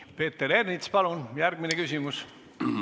Peeter Ernits, palun järgmine küsimus!